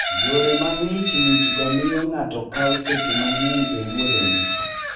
Yore ma ng'ich ng'ichgo miyo ng'ato kawo seche mang'eny e wuodhene.